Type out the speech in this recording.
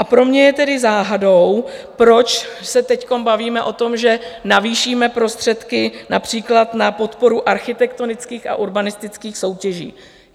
A pro mě je tedy záhadou, proč se teď bavíme o tom, že navýšíme prostředky například na podporu architektonických a urbanistických soutěží?